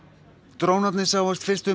drónarnir sáust fyrst um